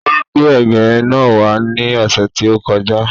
Ó gbé ẹ̀gẹ́ náà wá ní ọ̀sẹ̀ tí ó kọ já.